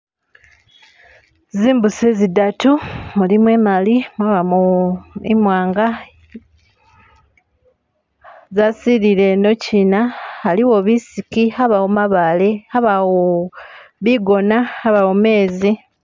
Zimbusi zidatu mulimo imali mwabamo imwanga zasilile inochina haliwo bisiki habawo mabaale habawo bigona habawo meezi.